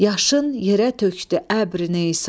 Yaşın yerə tökdü əbri Nesan,